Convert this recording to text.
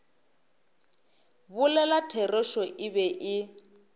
bolela therešo e be e